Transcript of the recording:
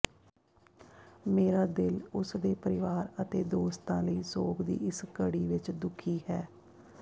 ਮੇਰਾ ਦਿਲ ਉਸ ਦੇ ਪਰਿਵਾਰ ਅਤੇ ਦੋਸਤਾਂ ਲਈ ਸੋਗ ਦੀ ਇਸ ਘੜੀ ਵਿੱਚ ਦੁਖੀ ਹੈ